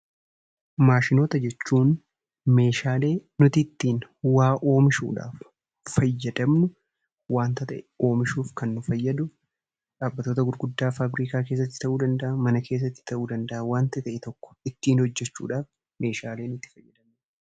Maashinoota jechuun meeshaalee nuti ittiin waa oomishuudhaaf fayyadamnu waanta ta'e oomishuuf kan nu fayyadu, dhaabbattoota gurguddaaf faabirikaa keessatti ta'uu danda'a, mana keessatti ta'uu danda'a waanta ta'e tokko ittiin hojjechuudhaaf meeshaalee nuti itti fayyadamnudha.